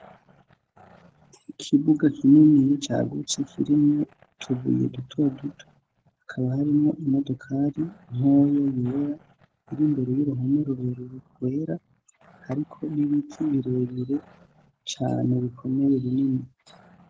Ikibuga kininiya cagutse kirimwo utubuye dutoduto hakaba harimwo imodokari ntoyi yera iri imbere y'uruhome rurerure rwera hariko nibiti birebire cane bikomeye binini.